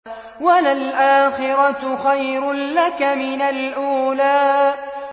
وَلَلْآخِرَةُ خَيْرٌ لَّكَ مِنَ الْأُولَىٰ